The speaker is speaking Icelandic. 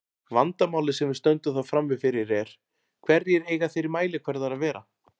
Vandamálið sem við stöndum þá frammi fyrir er: Hverjir eiga þeir mælikvarðar að vera?